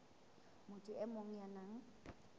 motho e mong ya nang